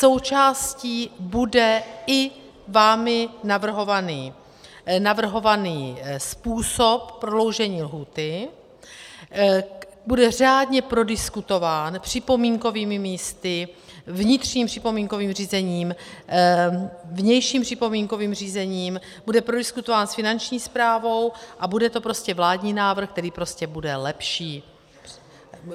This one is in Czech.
Součástí bude i vámi navrhovaný způsob prodloužení lhůty, bude řádně prodiskutován připomínkovými místy, vnitřním připomínkovým řízením, vnějším připomínkovým řízením, bude prodiskutován s Finanční správou a bude to prostě vládní návrh, který prostě bude lepší.